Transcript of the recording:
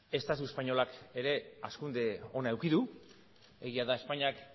estatu espainolak ere hazkunde ona eduki du egia da espainiak